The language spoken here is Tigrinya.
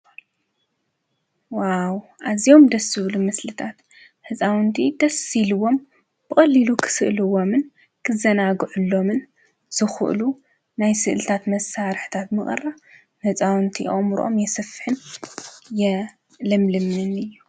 ዋው! አዝዮም ደስ ዝብሉ ምስሊታት ህፃውንቲ ደስ ኢሉዎም ብቀሊሉ ክስእልዎምን ክዘናግዕሎምን ዝክእሉ ናይ ስእሊታት መሳርሒታት ምቅራብ ህፃውንቲ አእምሮኦም ይሰፍሕን ይልምልምን እዩ፡፡